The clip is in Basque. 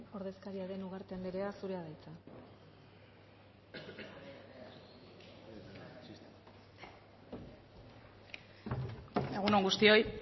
ordezkaria den ugarte andrea zurea da hitza egun on guztioi